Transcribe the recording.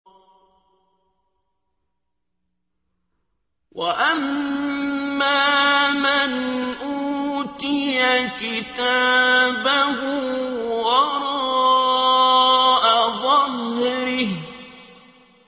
وَأَمَّا مَنْ أُوتِيَ كِتَابَهُ وَرَاءَ ظَهْرِهِ